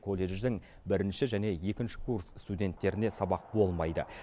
колледждің бірінші және екінші курс студенттеріне сабақ болмайды